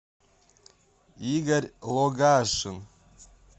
игорь логашин